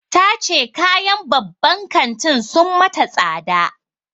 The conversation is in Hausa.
Ta ce kayan babban kantin sun mata tsada.